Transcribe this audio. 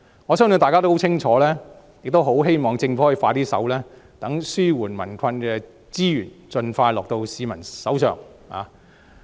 我相信大家的訴求很清楚，亦很希望政府可以加快處理，讓紓解民困的資源可以盡快交到市民手中。